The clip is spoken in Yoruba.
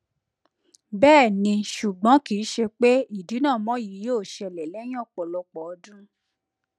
bẹẹni ṣugbọn kii ṣe pe idinamọ yii yoo ṣẹlẹ lẹhin ọpọlọpọ ọdun